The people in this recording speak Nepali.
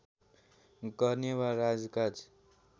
गर्ने वा राजकाज